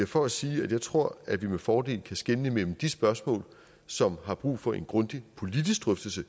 for at sige at jeg tror at vi med fordel kan skelne mellem de spørgsmål som har brug for en grundig politisk drøftelse